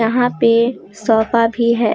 यहां पे सोफा भी है ।